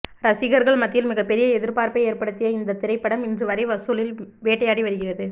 ரசிகர்கள் மத்தியில் மிக பெரிய எதிர்பார்ப்பை ஏற்படுத்திய இந்த திரைப்படம் இன்று வரை வசூலில் வேட்டையாடி வருகிறது